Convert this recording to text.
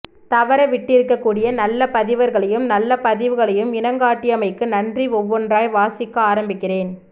தவற விட்டுருக்க கூடிய நல்ல பதிவர்களையும் நல்லப் பதிவுகளையும் இனங்காட்டியமைக்கு நன்றி ஒவ்வொன்றாய் வாசிக்க ஆரம்பிக்கிறேன்